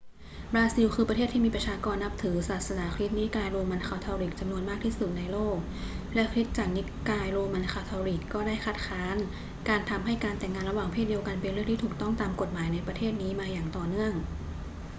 บราซิลคือประเทศที่มีประชาชนนับถือศาสนาคริสต์นิกายโรมันคาทอลิกจำนวนมากที่สุดในโลก และคริสตจักรนิกายโรมันคาทอลิกก็ได้คัดค้านการทำให้การแต่งงานระหว่างเพศเดียวกันเป็นเรื่องที่ถูกต้องตามกฎหมายในประเทศนี้มาอย่างต่อเนื่อง